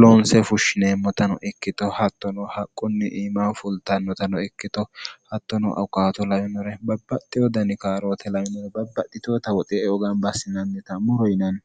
loonse fushshineemmotano ikkito hattono haqqunni iimaho fultannotano ikkito hattono aukaato lawimore babbaxxi wodani kaaroote lamoo babbadhitoota woxe eoganbaassinannita moro yinanni